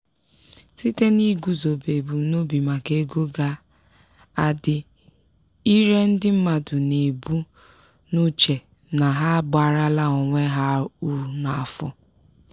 site n'iguzobe ebumnobi maka ego nke ga-adị ire ndị mmadụ na-ebu n'uche na ha abaarala onwe ha uru n'afọ.